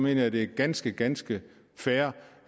jeg det er ganske ganske fair